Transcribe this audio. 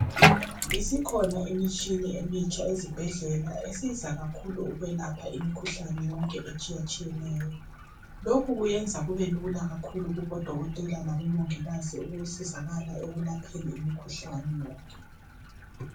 ISikhona imitshini emitsha ezibhedlela esiza kakhulu ukwelapha imikhuhlane yonke etshiya tshiyaneyo lokhu kuyenza kube lula kakhulu kubodokotela labomongikazi ukusizakala ekulapheni imikhuhlane yonke